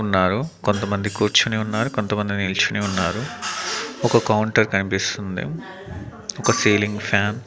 ఉన్నారు కొంతమంది కూర్చొని ఉన్నారు కొంతమంది నిల్చొని ఉన్నారు ఒక కౌంటర్ కనిపిస్తుంది ఒక సీలింగ్ ఫ్యాన్ --